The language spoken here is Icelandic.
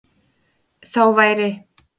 Þá væri